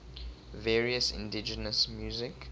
various indigenous music